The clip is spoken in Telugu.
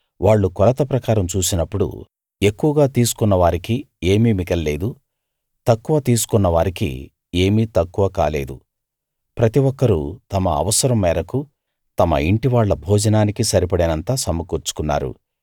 వాళ్ళు కొలత ప్రకారం చూసినప్పుడు ఎక్కువగా తీసుకొన్న వారికి ఏమీ మిగల్లేదు తక్కువ తీసుకొన్నవారికి ఏమీ తక్కువ కాలేదు ప్రతి ఒక్కరూ తమ అవసరం మేరకు తమ ఇంటి వాళ్ళ భోజనానికి సరిపడినంత సమకూర్చుకున్నారు